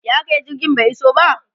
ya akayi jirgin bai iso ba?